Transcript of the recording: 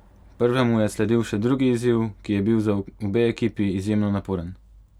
Prvemu je sledil še drugi izziv, ki je bil za obe ekipi izjemno naporen.